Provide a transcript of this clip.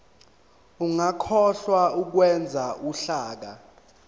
ungakhohlwa ukwenza uhlaka